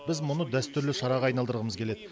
біз мұны дәстүрлі шараға айналдырғымыз келеді